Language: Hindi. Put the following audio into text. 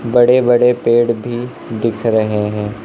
बड़े बड़े पेड़ भी दिख रहे हैं।